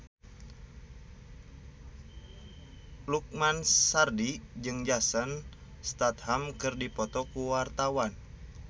Lukman Sardi jeung Jason Statham keur dipoto ku wartawan